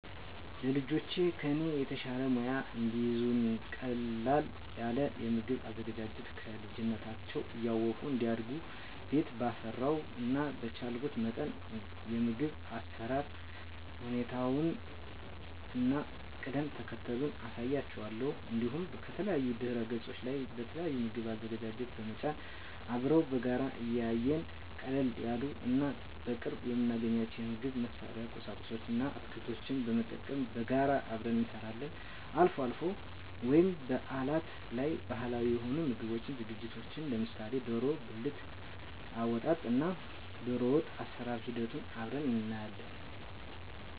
ለልጆቼ ከኔ የተሻለ ሙያ እንዲይዙ ቀለል ያለ የምግብ አዘገጃጀት ከልጅነታቸው እያወቁ እንዲያድጉ ቤት ባፈራው እና በቻልኩት መጠን የምግብ አሰራር ሁኔታውን እና ቅደም ተከተሉን አሳያቸዋለሁ። እንዲሁም ከተለያዩ ድህረገጾች ላይ የተለያዩ የምግብ አዘገጃጀት በመጫን አብረን በጋራ እያየን ቀለል ያሉ እና በቅርቡ የምናገኛቸውን የምግብ መስሪያ ቁሳቁስ እና አትክልቶችን በመጠቀም በጋራ አብረን እንሰራለን። አልፎ አልፎ ወይም በአላት ላይ ባህላዊ የሆኑ የምግብ ዝግጅቶችን ለምሳሌ ደሮ ብልት አወጣጥ እና ደሮወጥ አሰራር ሂደቱን አብረን እናያለን።